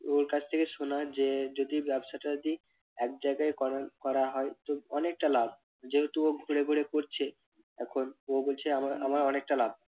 ওর কাছ থেকে শোনা যে যদি ব্যবসাটা যদি এক জায়গায় করা করা হয় তো অনেক লাভ, যেহেতু ও ঘুরে ঘুরে করছে এখন ও বলছে আমার আমার অনেকটা লাভ